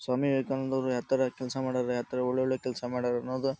ಸ್ವಾಮಿ ವಿವೇಕಾನಂದರು ಯಾತರ ಕೆಲಸ ಮಾಡರ್ ಯಾತರ ಒಳ್ಳ ಒಳ್ಳೆ ಕೆಲಸ ಮಾಡರ್ ಅದ್.